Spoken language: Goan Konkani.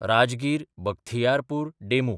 राजगीर–बख्तियारपूर डेमू